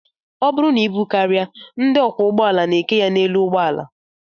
Ọ bụrụ na ibu karịa, ndị ọkwọụgbọala na-eke ya n'elu ụgbọala